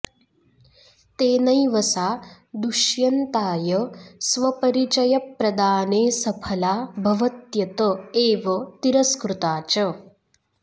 तेनैव सा दुष्यन्ताय स्वपरिचयप्रदानेऽसफला भवत्यत एव तिरस्कृता च